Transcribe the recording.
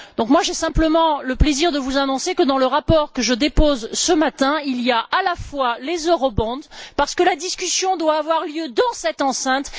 Donc j'ai simplement le plaisir de vous annoncer que le rapport que je dépose ce matin vise aussi les eurobonds car la discussion doit avoir lieu dans cette enceinte.